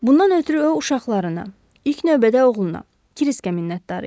Bundan ötrü o uşaqlarına, ilk növbədə oğluna, Kriskə minnətdar idi.